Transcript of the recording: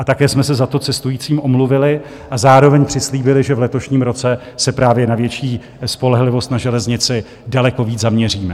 A také jsme se za to cestujícím omluvili a zároveň přislíbili, že v letošním roce se právě na větší spolehlivost na železnici daleko víc zaměříme.